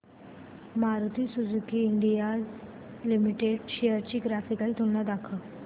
Maruti Suzuki India limited shares ची graphical तुलना दाखव